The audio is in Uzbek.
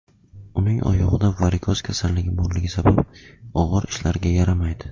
Uning oyog‘ida varikoz kasalligi borligi sabab, og‘ir ishlarga yaramaydi.